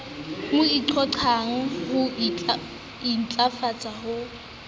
mo qhoqhang ho intlafatsa ho